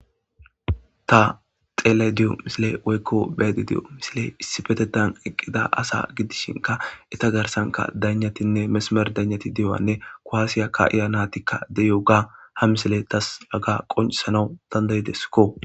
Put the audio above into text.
Ta xellayida diyo misiley woykko beyayda diyo misiley issipetetan eeqid asa gidishinkka eetta garssan daynatinne mesimer daynatti diyayssanne kuwasa ka'iya nayttikka de'iyogga ha misiley tas hagga qonccisanaw dandda'iesikko